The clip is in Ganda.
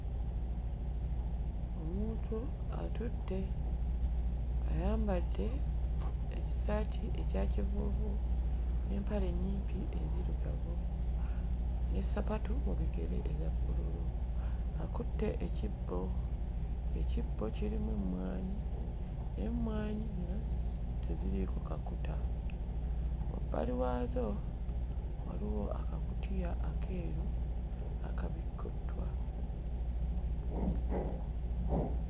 Omuntu atudde ayambadde ekisaati ekya kivuuvu n'empale ennyimpi enzirugavu n'essapatu mu bigere eza bbululu akutte ekibbo, ekibbo kirimu emmwanyi naye emmwanyi zino teziriiko kakuta. Wabbali waazo waliwo akakutiya akeeru akabikkuddwa.